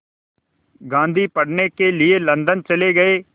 गांधी पढ़ने के लिए लंदन चले गए